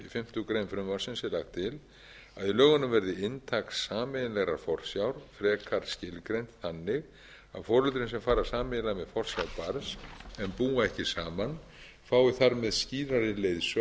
fimmtu grein frumvarpsins er lagt til að í lögunum verði inntak sameiginlegrar forsjár frekar skilgreint þannig að foreldrum sem fara sameiginlega með forsjá barns en búa ekki saman fái þar með skýrari leiðsögn í lögunum